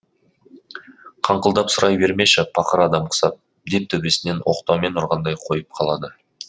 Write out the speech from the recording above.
қыңқылдап сұрай бермеші пақыр адам құсап деп төбесінен оқтаумен ұрғандай қойып қалады